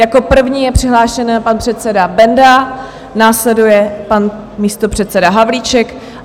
Jako první je přihlášen pan předseda Benda, následuje pan místopředseda Havlíček.